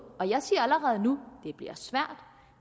og jeg siger allerede nu